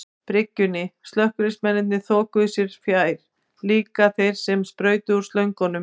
byggingunni, slökkviliðsmennirnir þokuðu sér fjær, líka þeir sem sprautuðu úr slöngunum.